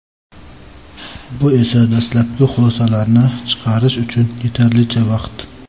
Bu esa dastlabki xulosalarni chiqarish uchun yetarlicha vaqt.